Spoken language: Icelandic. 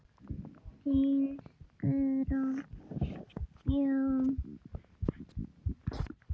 Þín Guðrún Mjöll.